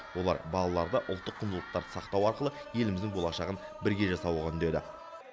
олар балаларды ұлттық құндылықтарды сақтау арқылы еліміздің болашағын бірге жасауға үндеді